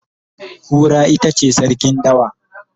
Kura itace sarkin dawa